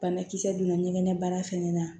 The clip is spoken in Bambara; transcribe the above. Banakisɛ donna ɲɛgɛn baara fɛnɛ na